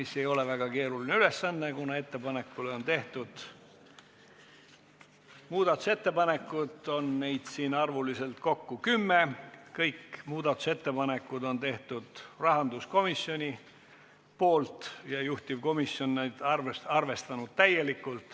See ei ole väga keeruline ülesanne, kuna muudatusettepanekuid on kokku kümme, kõik ettepanekud on teinud rahanduskomisjon ja juhtivkomisjon on neid täielikult arvestanud.